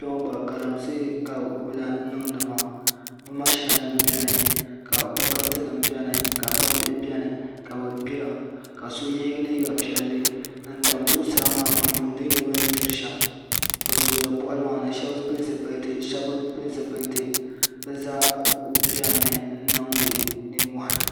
Kpɛŋɔ gba Galamse ka lahi niŋdi maa bɛ maʒina nima biɛni ka bokati nima biɛni ka gbambihi biɛni ka ye liiga piɛli n tam zuɣusaa maa n yuuni nya bini gbiri shem bɛ zooya boɣali maa ni sheba pili zipilti sheba bi pili zipilti bɛ zaa kuli biɛni mi niŋdi ninmohi.